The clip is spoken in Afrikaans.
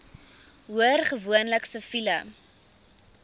hoor gewoonlik siviele